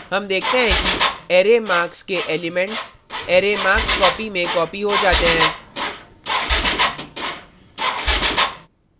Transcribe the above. हम देखते हैं कि array marks के elements array markscopy में copied हो जाते हैं